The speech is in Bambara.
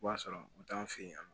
B'a sɔrɔ u t'an fɛ yen nɔ